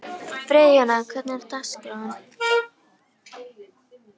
Friðjóna, hvernig er dagskráin?